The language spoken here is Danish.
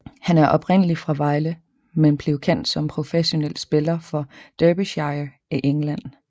Han er oprindelig fra Vejle men blev kendt som professionel spiller for Derbyshire i England